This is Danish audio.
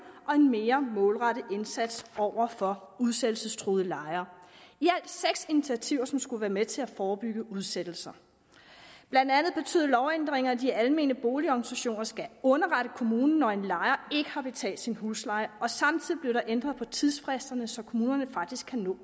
og mere målrettet indsats over for udsættelsestruede lejere i alt seks initiativer som skulle være med til at forebygge udsættelser blandt andet betyder lovændringerne at de almene boligorganisationer skal underrette kommunen når en lejer ikke har betalt sin husleje og samtidig blev der ændret på tidsfristerne så kommunen faktisk kan nå